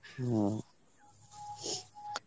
হম